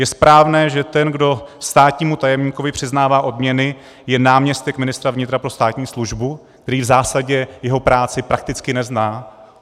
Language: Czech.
Je správné, že ten, kdo státnímu tajemníkovi přiznává odměny, je náměstek ministra vnitra pro státní službu, který v zásadě jeho práci prakticky nezná?